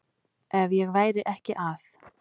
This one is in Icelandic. Ef ég væri ekki að